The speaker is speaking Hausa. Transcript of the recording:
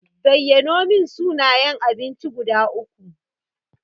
Zayyanomin suna yan abinci guda uku.